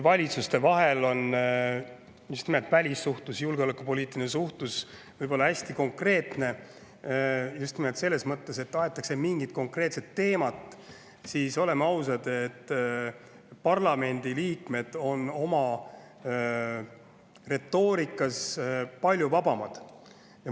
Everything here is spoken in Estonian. Valitsuste vahel on välissuhtlus, julgeolekupoliitiline suhtlus hästi konkreetne, just nimelt selles mõttes, et aetakse mingit konkreetset teemat, aga oleme ausad, parlamendiliikmed on oma retoorikas palju vabamad.